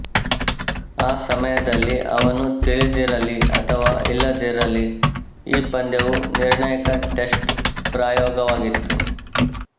ಆ ಸಮಯದಲ್ಲಿ ಅವನು ತಿಳಿದಿರಲಿ ಅಥವಾ ಇಲ್ಲದಿರಲಿ ಈ ಪಂದ್ಯವು ನಿರ್ಣಾಯಕ ಟೆಸ್ಟ್ ಪ್ರಯೋಗವಾಗಿತ್ತು